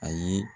Ayi